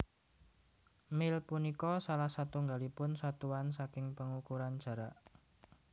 Mil punika salah satunggalipun satuan saking pangukuran jarak